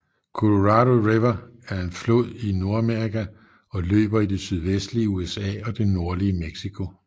Colorado River er en flod i Nordamerika og løber i det sydvestlige USA og det nordlige Mexico